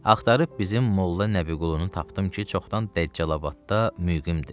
Axtarıb bizim Molla Nəbiqulunu tapdım ki, çoxdan Dəccalabadda müqimdir.